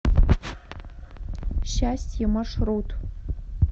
счастье маршрут